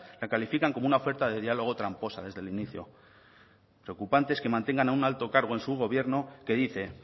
la califican como una oferta de diálogo tramposa desde el inicio preocupante es que mantengan a un alto cargo en su gobierno que dice